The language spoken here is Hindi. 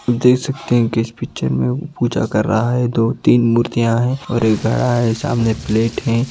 देख सकते हैं कि इस पिक्चर में वो पूजा कर रहा है दो तीन मूर्तियां हैं और एक घड़ा है सामने प्लेट हैं।